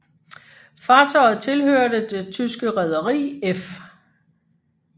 Fartøjet tilhørte det tyske rederi F